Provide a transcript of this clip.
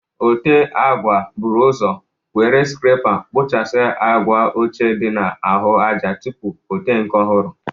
Ote agwa bụrụ ọzọ were skrepa kpụchasịa agwa ochie dị na ahụ aja tupu o te nke ọhụrụ.